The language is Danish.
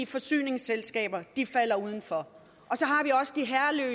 forsyningsselskaber de falder udenfor